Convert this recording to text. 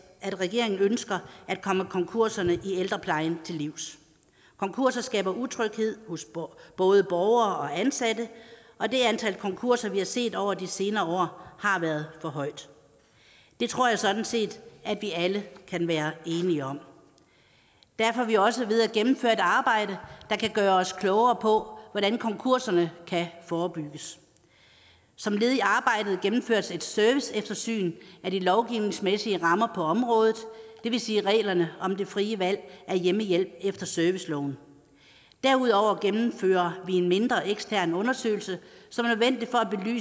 at regeringen ønsker at komme konkurserne i ældreplejen til livs konkurser skaber utryghed hos både borgere og ansatte og det antal konkurser vi har set over de senere år har været for højt det tror jeg sådan set vi alle kan være enige om derfor er vi også ved at gennemføre et arbejde der kan gøre os klogere på hvordan konkurserne kan forebygges som led i arbejdet gennemføres et serviceeftersyn af de lovgivningsmæssige rammer på området det vil sige reglerne om det frie valg af hjemmehjælp efter serviceloven derudover gennemfører vi en mindre ekstern undersøgelse